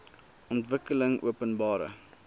ontwikkelingopenbare